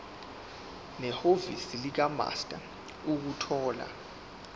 nehhovisi likamaster ukuthola